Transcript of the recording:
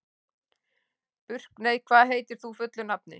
Burkney, hvað heitir þú fullu nafni?